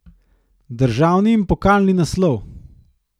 Državni in pokalni naslov.